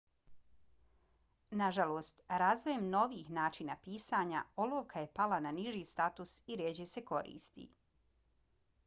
nažalost razvojem novijih načina pisanja olovka je pala na niži status i rjeđe se koristi